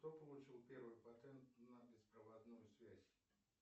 кто получил первый патент на беспроводную связь